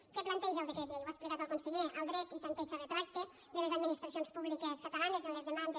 què planteja el decret llei ho ha explicat el conseller el dret de tanteig i retracte de les administracions públiques catalanes en les demandes